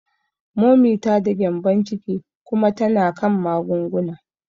Momi ta da gyembon ciki kuma tana kan magunguna.